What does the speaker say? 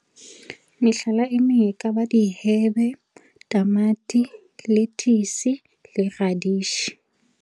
Mehlala e meng e kaba dihebe, tamati, lethisi le radishi.